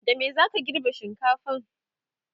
da me zaka girbe shinkafan?